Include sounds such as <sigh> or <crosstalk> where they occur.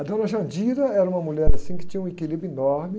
A dona <unintelligible> era uma mulher, assim, que tinha um equilíbrio enorme.